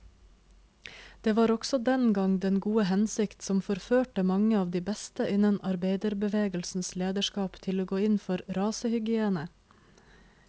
Det var også den gang den gode hensikt som forførte mange av de beste innen arbeiderbevegelsens lederskap til å gå inn for rasehygiene.